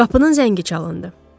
Qapının zəngi çalındı.